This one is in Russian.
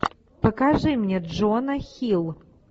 покажи мне джона хилл